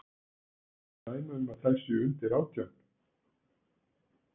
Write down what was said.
Eru dæmi um að þær séu undir átján?